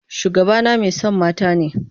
Shugabana mai son mata ne.